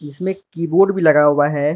इसमें कीबोर्ड भी लगा हुआ है।